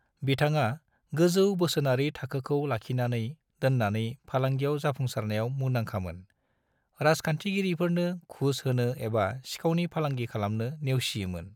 बिथाङा गोजौ बोसोनारि थाखोखौ लाखिनानै दोननानै फालांगियाव जाफुंसारनायाव मुंदाखामोन - राजखान्थिगिरिफोरनो घुस होनो एबा सिखावनि फालांगि खालामनो नेवसियोमोन।